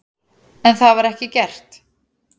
En það var ekki gert.